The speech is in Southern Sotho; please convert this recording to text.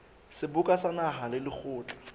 seboka sa naha le lekgotla